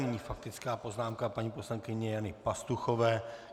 Nyní faktická poznámka paní poslankyně Jany Pastuchové.